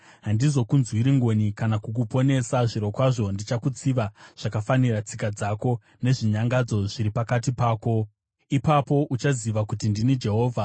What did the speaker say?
Handizokunzwiri ngoni kana kukuponesa; zvirokwazvo ndichakutsiva zvakafanira tsika dzako nezvinyangadzo zviri pakati pako. Ipapo uchaziva kuti ndini Jehovha.